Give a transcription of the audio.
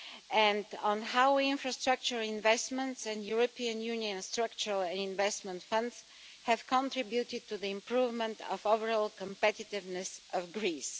And on how infrastructure investments and European Union structural investment funds have contributed to the improvement of overall competitiveness of Greece.